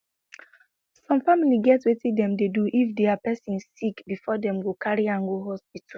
some family get wetin dem dey do if dia pesin sick before dem go carry am go hospital